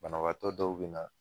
Banabaatɔ dɔw be na.